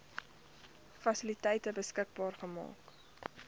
fasiliteite beskikbaar maak